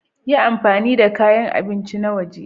Yi amfani da kayan abinci na waje.